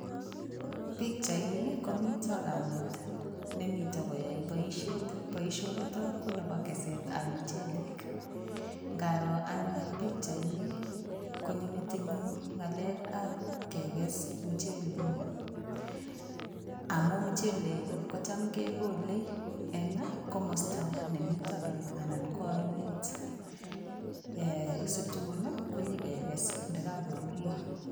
Pikchaini komito kamet nemito koyae boisiet. Boisionitok ko nebo kesetab michelek. Ngaroo anne pikchaini konyo metinyu ngalekab kekes muchelek amu muchelek kocham kogole eng komosta nemito beek anan ko ainet situn konyekeges ndakakorurio.